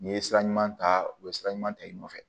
N'i ye sira ɲuman ta u bɛ sira ɲuman ta i nɔfɛ